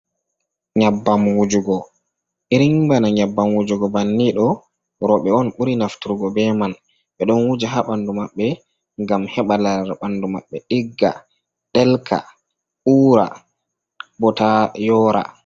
Nyabbam wujugo irin bana nyabbam wujugo banni ɗo roɓe on ɓuri naftrgo ɓe man ɓe ɗon wuja ha bandu maɓbe gam heɓa lare bandu maɓɓe igga ɗelka ura botayora.